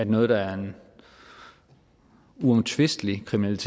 noget der uomtvisteligt er kriminelt